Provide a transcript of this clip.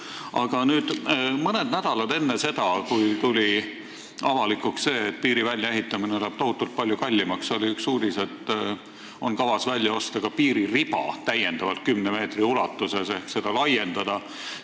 Aga mõned nädalad enne seda, kui tuli avalikuks see, et piiri väljaehitamine läheb tohutult palju kallimaks, oli üks uudis, et on kavas välja osta ka täiendav piiririba 10 meetri ulatuses ehk seda laiendada.